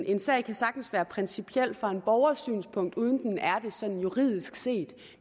en sag kan sagtens være principiel fra en borgers synspunkt uden at den er det sådan juridisk set